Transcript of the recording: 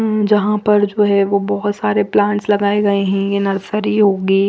उम्म यहां पर जो है वो बहुत सारे प्लांट्स लगाए गए हैं ये नर्सरी होगी।